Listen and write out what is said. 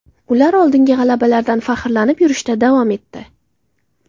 Ular oldingi g‘alabalardan faxrlanib yurishda davom etdi.